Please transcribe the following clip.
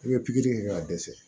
I bɛ pikiri kɛ k'a dɛsɛ